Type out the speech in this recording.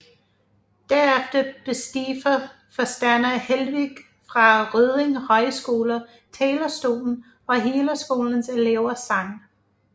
Derefter besteg forstander Helweg fra Rødding Højskole talerstolen og hele skolens elever sang